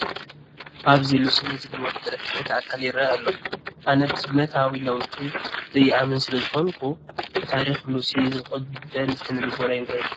ኣብዚ ሉሲ ናይ ዝበሉዋ ፍጥረት ቅሪት ኣካል ይርአ ኣሎ፡፡ ኣነ ብዘገምታዊ ለውጢ ዘይኣምን ስለዝኾንኩ ንታሪክ ሉሲ ዝቕበል ስነ ልቦና የብለይን፡፡